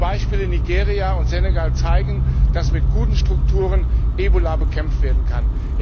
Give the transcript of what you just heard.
Die Beispiele Nigeria und Senegal zeigen, dass mit guten Strukturen Ebola bekämpft werden kann.